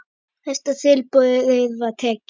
Hæsta tilboði var tekið.